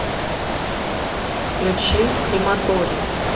включи крематорий